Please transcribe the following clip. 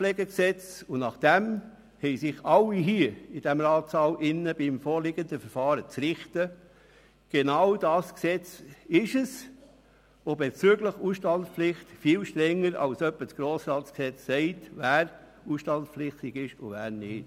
Das VPRG – und nach diesem haben sich im vorliegendem Verfahren alle in diesem Ratssaal zu richten – ist bezüglich der Ausstandspflicht viel strenger als zum Beispiel das Gesetz über den Grossen Rat (Grossratsgesetz, GRG).